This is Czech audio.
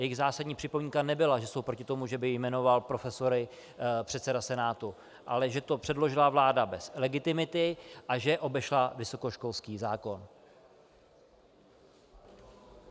Jejich zásadní připomínka nebyla, že jsou proti tomu, že by jmenoval profesory předseda Senátu, ale že to předložila vláda bez legitimity a že obešla vysokoškolský zákon.